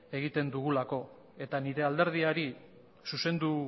egiten dugulako eta nire alderdiari zuzendu